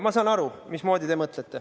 Ma saan aru, mismoodi te mõtlete.